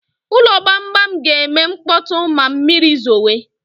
Ụlọ gbamgbam ga-eme mkpọtụ ma mmiri zowe